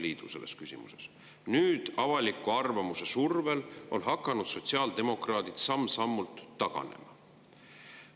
Nüüd on sotsiaaldemokraadid avaliku arvamuse survel hakanud samm-sammult taganema.